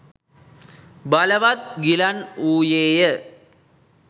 බලවත්ව ගිලන් වූයේය.